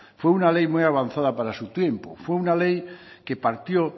fue una ley muy avanzada para su tiempo fue una ley que partió